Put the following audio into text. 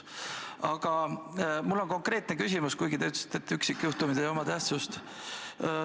Aga mul on konkreetne küsimus, kuigi te ütlesite, et üksikjuhtumid ei oma tähtsust.